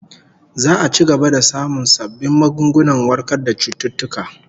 Za'a ci gaba da samun sabbin magungunan warkar da cututtuka